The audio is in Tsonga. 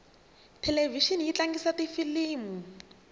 thelevixini yi tlangisa tifilimu